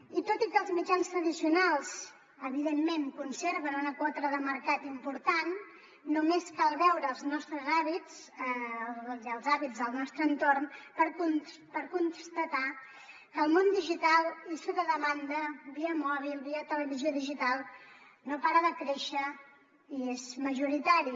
i tot i que els mitjans tradicionals evidentment conserven una quota de mercat important només cal veure els nostres hàbits i els hàbits del nostre entorn per constatar que el món digital i sota demanda via mòbil via televisió digital no para de créixer i és majoritari